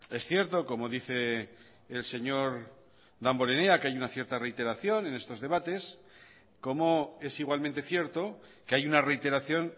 es cierto como dice el señor damborenea que hay una cierta reiteración en estos debates como es igualmente cierto que hay una reiteración